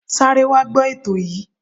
Sáré wá gbọ ètò yìí.